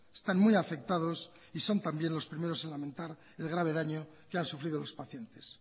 están muy afectados y son también los primeros en lamentar el grave daño que han sufrido los pacientes